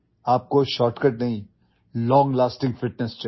You don't need a shortcut, you need long lasting fitness